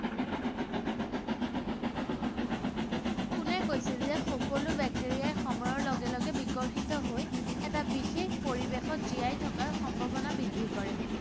কোনে কৈছিল যে সকলো বেক্টেৰিয়াই সময়ৰ লগে লগে বিকশিত হৈ এটা বিশেষ পৰিৱেশত জীয়াই থকাৰ সম্ভাৱনা বৃদ্ধি কৰে?